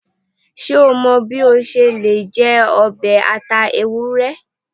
Ṣe o mọ bi o ṣe le jẹ ọbẹ ata ewurẹ?